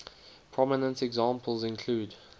prominent examples include